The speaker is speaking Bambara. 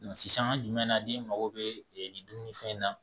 Nka sisan jumɛn na ni mago be nin dunni fɛn in na